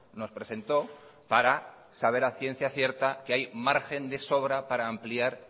nos presentó para saber a ciencia cierta que hay margen de sobra para ampliar